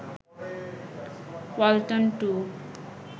Walton 2